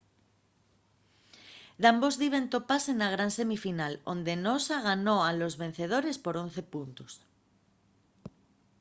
dambos diben topase na gran semifinal onde'l noosa ganó a los vencedores por 11 puntos